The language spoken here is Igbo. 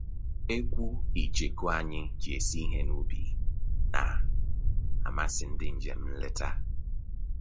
Ekwu icheku anyị ji esi ihe n'ubi na-amasị ndị njem nleta